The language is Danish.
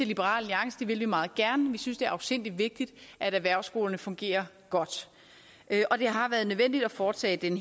liberal alliance det vil vi meget gerne vi synes det er afsindig vigtigt at erhvervsskolerne fungerer godt og det har været nødvendigt at foretage den